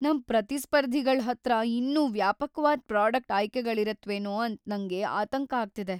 ನಮ್ ಪ್ರತಿಸ್ಪರ್ಧಿಗಳ್ ಹತ್ರ ಇನ್ನೂ ವ್ಯಾಪಕ್ವಾದ್‌ ಪ್ರಾಡಕ್ಟ್ ಆಯ್ಕೆಗಳಿರತ್ವೇನೋ ಅಂತ ನಂಗ್ ಆತಂಕ ಆಗ್ತಿದೆ.